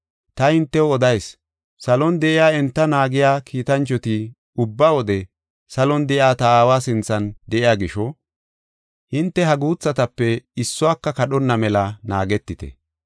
“Ta hintew odayis; salon de7iya enta naagiya kiitanchoti ubba wode salon de7iya ta Aawa sinthan de7iya gisho, hinte ha guuthatape issuwaka kadhonna mela naagetite.